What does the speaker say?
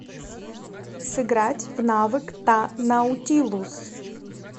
сыграть в навык та наутилус